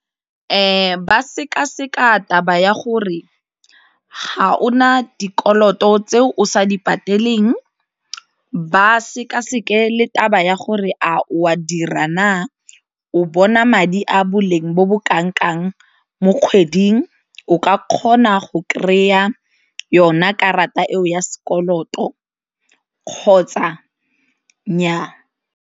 Ba sekaseka taba ya gore ga o na dikoloto tse o sa di pateleng ba sekaseke le taba ya gore a o a dira , o bona madi a boleng bo bo kanang-kang mo kgweding, o ka kgona go kry-a yona karata eo ya sekoloto kgotsa nnyaa.